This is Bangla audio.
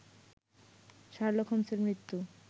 শার্লক হোমস্-এর মৃত্যু